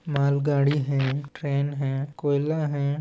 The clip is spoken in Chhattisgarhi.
मालगाड़ी है ट्रेन है कोयला है।